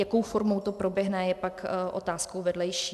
Jakou formou to proběhne, je pak otázkou vedlejší.